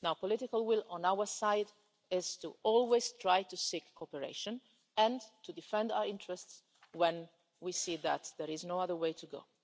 The political will on our side is always to try to seek cooperation, and to defend our interests when we see that there is no other way to go.